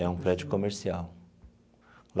É um prédio comercial.